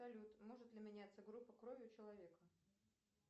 салют может ли меняться группа крови у человека